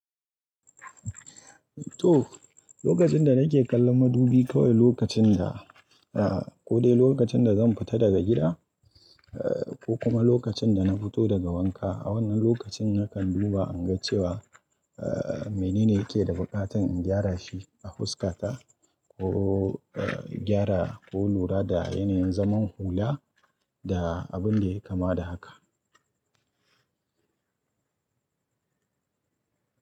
To, lokacin da nake kallon madubi kawai lokacin da, ah, ko dai lokacin da zan fita daga gida, ko kuma lokacin da na fito daga wanka. A wannan lokacin nakan duba in ga cewa, menene yake da buƙatar in gyara shi a fuska ta ko, gyara ko lura da yanayin zaman hula da abun da yai kama da haka.